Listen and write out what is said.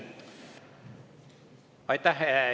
Aitäh!